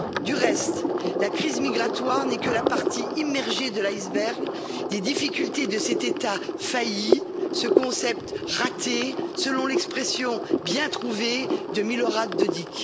Du reste, la crise migratoire n'est que la partie immergée de l'iceberg, des difficultés de cet État failli, ce concept raté, selon l'expression bien trouvée de Milorad Dodik.